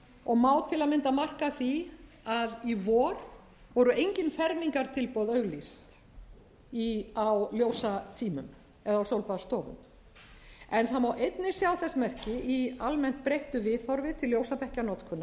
og má til að mynda markast af því að í vor voru engin fermingartilboð auglýst á ljósatímum eða á sólbaðsstofum en það má einnig sjá þess merki í almennt breyttu viðhorfi til ljósabekkjanotkunar